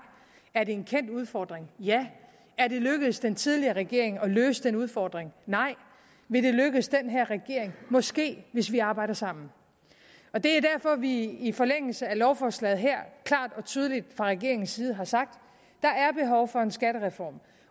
er det en kendt udfordring ja er det lykkedes den tidligere regering at løse den udfordring nej vil det lykkes den her regering måske hvis vi arbejder sammen og det er derfor at vi i forlængelse af lovforslaget her klart og tydeligt fra regeringens side har sagt at der er behov for en skattereform